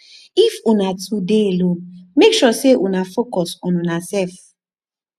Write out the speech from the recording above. if una two dey alone mek sure sey una focus on unasef